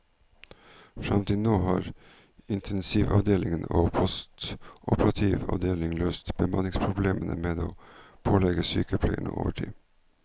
Frem til nå har intensivavdelingen og postoperativ avdeling løst bemanningsproblemene med å pålegge sykepleierne overtid.